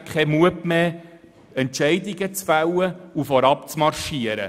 Sie haben schlichtweg keinen Mut mehr, Entscheidung zu treffen und vorauszumarschieren.